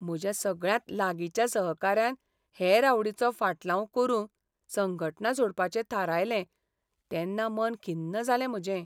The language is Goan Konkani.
म्हज्या सगळ्यांत लागींच्या सहकाऱ्यान हेर आवडीचो ऴाटलाव करूंक संघटना सोडपाचें थारायलें तेन्ना मन खिन्न जालें म्हजें.